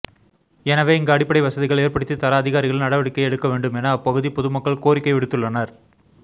எனவே இங்கு அடிப்படை வசதிகள் ஏற்படுத்தி தர அதிகாரிகள் நடவடிக்கை எடுக்க வேண்டும் என அப்பகுதி பொதுமக்கள் கோரிக்கை விடுத்துள்ளனர்